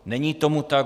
Není tomu tak.